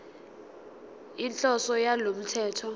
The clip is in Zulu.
inhloso yalo mthetho